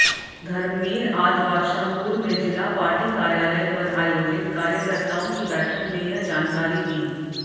धर्मबीर आज बादशाहपुर में जिला पार्टी कार्यालय पर आयोजित कार्यकर्ताओं कीबैठक में यह जानकारी दी